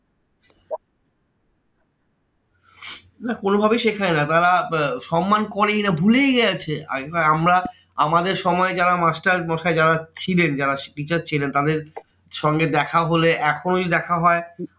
না কোনোভাবেই শেখায় না। তারা আহ সন্মান করেই না, ভুলেই গেছে। আগেকার আমরা আমাদের সময় যারা মাস্টারমশাই যারা ছিলেন, যারা teacher ছিলেন, তারা সঙ্গে দেখা হলে এখন দেখা হয়